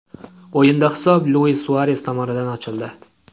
O‘yinda hisob Luis Suares tomonidan ochildi.